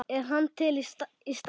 Er hann til í starfið?